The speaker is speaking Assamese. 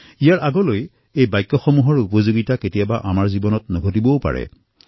ইয়াৰ পিছত এই বাক্যসমূহৰ প্ৰয়োগ আমাৰ জীৱনত কেতিয়াও নহয়